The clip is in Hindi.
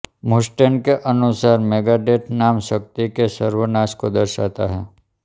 मुस्टेन के अनुसार मेगाडेथ नाम शक्ति के सर्वनाश को दर्शाता है